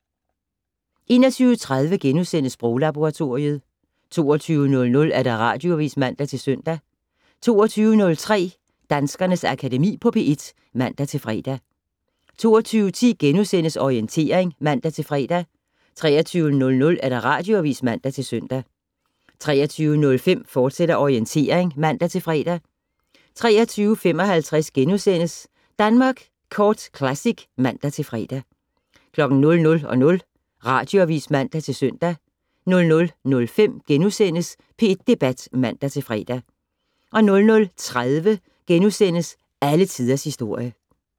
21:30: Sproglaboratoriet * 22:00: Radioavis (man-søn) 22:03: Danskernes Akademi på P1 (man-fre) 22:10: Orientering *(man-fre) 23:00: Radioavis (man-søn) 23:05: Orientering, fortsat (man-fre) 23:55: Danmark Kort Classic *(man-fre) 00:00: Radioavis (man-søn) 00:05: P1 Debat *(man-fre) 00:30: Alle Tiders Historie *